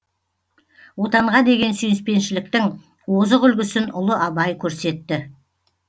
отанға деген сүйіспеншіліктің озық үлгісін ұлы абай көрсетті